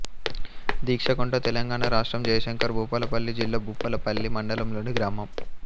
దీక్షకుంట తెలంగాణ రాష్ట్రం జయశంకర్ భూపాలపల్లి జిల్లా భూపాలపల్లి మండలంలోని గ్రామం